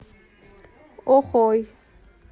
охой